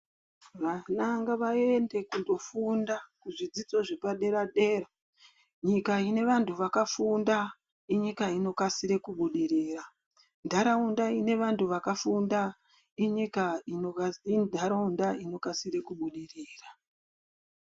Vana ngavaende kundofunda kuzvidzidzo zvepadera dera, nyika ine vantu vakafunda inyika inokasire kubudirira, ntaraunda ine vantu vakafunda intaraunda inokasire kubudirira.